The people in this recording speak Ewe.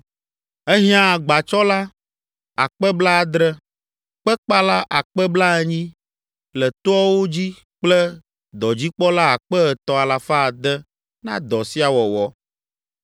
Ehiã agbatsɔla akpe blaadre (70,000), kpekpala akpe blaenyi (80,000) le toawo dzi kple dɔdzikpɔla akpe etɔ̃ alafa ade (3,600) na dɔ sia wɔwɔ.